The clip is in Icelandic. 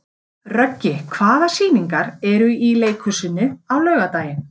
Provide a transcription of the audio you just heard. Röggi, hvaða sýningar eru í leikhúsinu á laugardaginn?